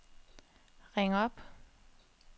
ring op